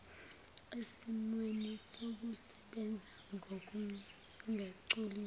esimweni sokusebenza ngokungagculisi